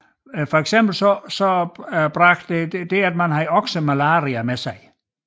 Eksempelvis bragte okseholdet malaria med sig